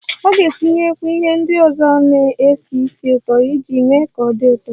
Ọ ga-agbakwunye ihe ndị ọzọ na-esi ísì ụtọ iji mee ka ọ dị ụtọ